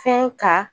Fɛn ka